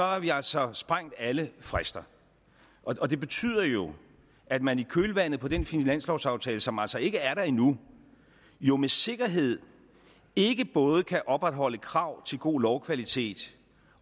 har vi altså sprængt alle frister og det betyder jo at man i kølvandet på den finanslovsaftale som altså ikke er der endnu jo med sikkerhed ikke både kan opretholde krav til god lovkvalitet